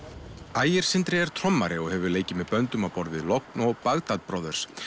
ægir Sindri er trommari og hefur leikið með böndum á borð við logn og Bagdad Brothers